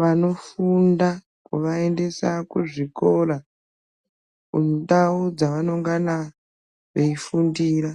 vanofunda kuvaendesa kuzvikora, kundau dzavanongana veifundira.